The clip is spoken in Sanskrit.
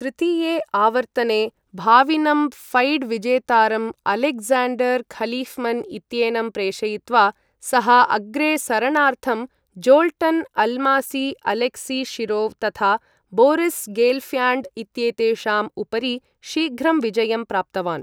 तृतीये आवर्तने भावीनं फैड् विजेतारं, अलेक्ज़ाण्डर् खलिफ्मन् इत्येनं प्रेषयित्वा, सः अग्रे सरणार्थं, ज़ोल्टन् अल्मासी, अलेक्सी शिरोव्, तथा बोरिस् गेल्फ्याण्ड् इत्येतेषाम् उपरि शीघ्रं विजयं प्राप्तवान्।